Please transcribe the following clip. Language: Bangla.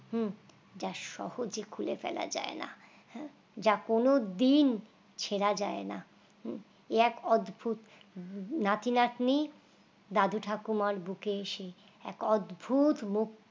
হুঁ যা সহজে খুলে ফেলা যায় না যা কোন দিন ছেড়া যায় নাহুঁ এক অদ্ভুত নাতি-নাতনি দাদু ঠাকুমার বুকে এসে এক অদ্ভুত